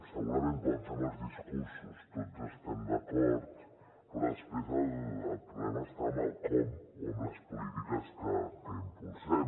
segurament quan fem els discursos tots hi estem d’acord però després el problema està en el com o en les polítiques que impulsem